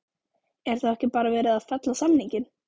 Er þá ekki bara verið að fella samninginn?